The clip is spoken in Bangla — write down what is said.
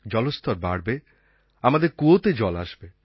জলস্তর বাড়বে আমাদের কুয়োতে জল আসবে